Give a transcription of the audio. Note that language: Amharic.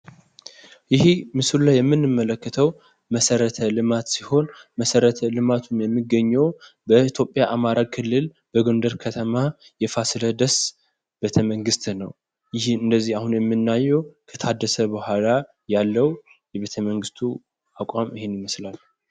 ይሄ ምስሉ ላይ የምንመለከተው መሰረተ ልማት ሲሆን መሰረተ ልማቱም የሚገኘው በኢትዮጵያ አማራ ክልል በጎንደር ከተማ የፋሲለደስ ቤተመንግስት ነው። ይሄ አሁን እንደዚህ የምናየው ከታደሰ በኋላ ያለው የቤተመንግስቱ አቋም ይሄንን ይመስላል።